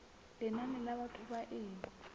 lenane la batho ba e